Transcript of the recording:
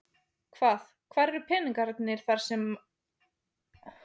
Hvað, hvar eru peningarnir þar sem að áttu að vera í það?